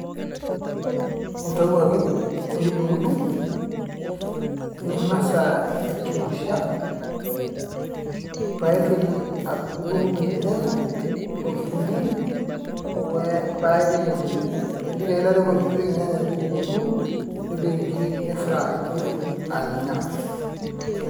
Intau ake nidungdung , nintoki aichemsha ,nintotki adundung irnyanya okitunguu paa ipik emoti , nipik irnyanya emoti nipik kitunguu , nipik inkiri nifry , nidungdung anya.